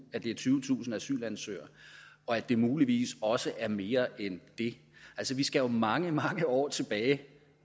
at det er tyvetusind asylansøgere og at det muligvis også er mere end det altså vi skal jo mange mange år tilbage